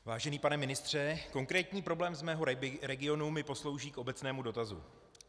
Vážený pane ministře, konkrétní problém z mého regionu mi poslouží k obecnému dotazu.